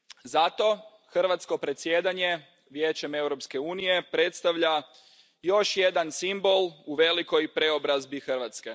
Zato hrvatsko predsjedanje Vijećem Europske unije predstavlja još jedan simbol u velikoj preobrazbi Hrvatske.